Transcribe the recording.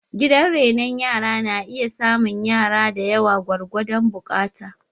Gidan renon rana na iya samun yara da yawa gwargwadon buƙata